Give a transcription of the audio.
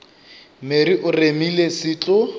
mere o remile se tlo